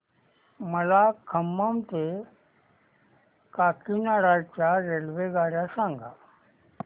मला खम्मम ते काकीनाडा च्या रेल्वेगाड्या सांगा